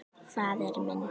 Faðir minn.